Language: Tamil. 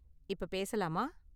இப்ப பேசலாமா?